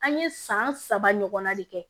An ye san saba ɲɔgɔnna de kɛ